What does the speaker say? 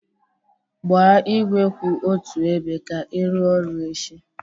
Gbaa igwe kwụ otu ebe ka ị rụọ ọrụ echi